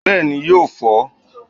Bééni yóó fọ́n.